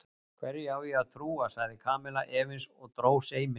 Hverju á ég að trúa? sagði Kamilla efins og dró seiminn.